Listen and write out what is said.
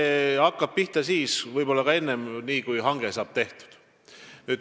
See hakkab pihta siis, kui hange saab tehtud, võib-olla ka varem.